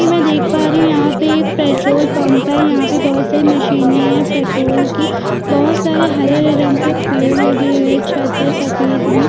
कि मै देख पा रही हू यहाँ पे एक पेट्रोल पंप है यहाँ पे बहोत सारी मशीने है पेट्रोल कि बहोत सारे हरे-हरे रंग के पेड़ लगे है छत है सफेद मे--